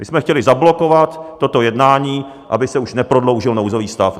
My jsme chtěli zablokovat toto jednání, aby se už neprodloužil nouzový stav.